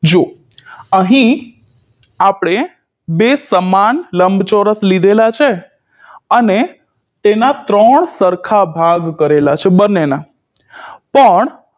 જો અહીં આપણે બે સમાન લંબચોરસ લીધેલા છે અને તેના ત્રણ સરખા ભાગ કરેલા છે બંનેના પણ